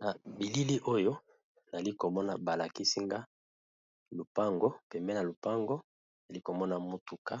Na bilili oyo, nali komona balakisi nga lupango. Pembeni na lupango, ali komona motuka